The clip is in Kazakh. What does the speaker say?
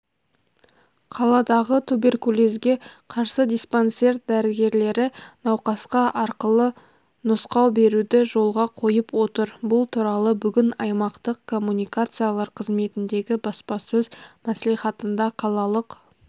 қаладағы туберкулезге қарсы диспансер дәрігерлері науқасқа арқылы нұсқау беруді жолға қойып отыр бұл туралы бүгін аймақтық коммуникациялар қызметіндегі баспасөз мәслихатында қалалық